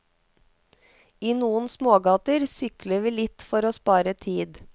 I noen smågater sykler vi litt for å spare tid.